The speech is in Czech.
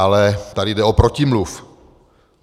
Ale tady jde o protimluv.